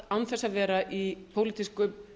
frú forseti hér er um